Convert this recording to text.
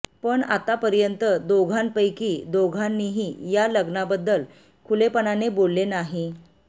पण आतापर्यंत दोघांपैकी दोघांनीही या लग्नाबद्दल खुलेपणाने बोलले नाही